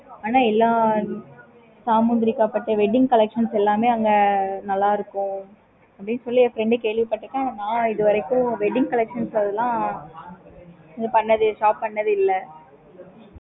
okay mam